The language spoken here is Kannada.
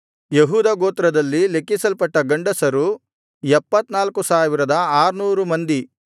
ಯೆಹೂದ ಗೋತ್ರದಲ್ಲಿ ಲೆಕ್ಕಿಸಲ್ಪಟ್ಟ ಗಂಡಸರು 74600 ಮಂದಿ